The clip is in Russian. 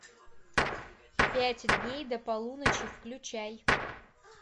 пять дней до полуночи включай